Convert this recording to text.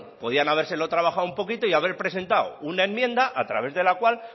podrían habérselo trabajado un poquito y haber presentado una enmienda a través de la cual